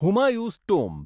Humayun's tomb